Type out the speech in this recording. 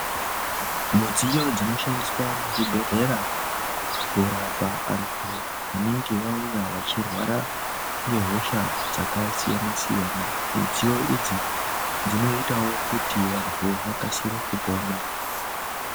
Mudziyo dzinoshandiswa muzvibhedhlera kurapa antu anenge vauya vachirwara ngehosha dzakasiyana siyana midziyo idzi dzinoitawo kuti vantu vakasire kupona.